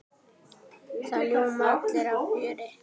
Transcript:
Það ljóma allir af fjöri.